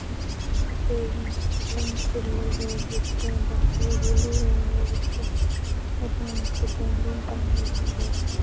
यहाँ पे एगो सैलून खुले है जे के बाहर बुलु रंग के बैलून टांगल हई गेट पे।